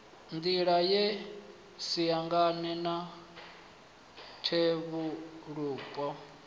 nḓila ye siangane na fhethuvhupo